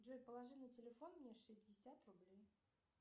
джой положи на телефон мне шестьдесят рублей